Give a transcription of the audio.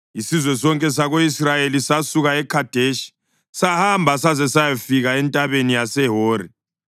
Isizwe sonke sako-Israyeli sasuka eKhadeshi sahamba saze sayafika entabeni yaseHori.